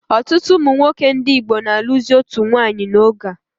Ọtụtụ ụmụnwoke ndị Igbo na alụzi otu nwanyị n'oge a